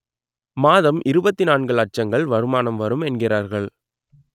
மாதம் இருபத்தி நான்கு லட்சங்கள் வருமானம் வரும் என்கிறார்கள்